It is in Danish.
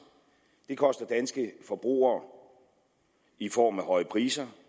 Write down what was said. det koster danske forbrugere i form af høje priser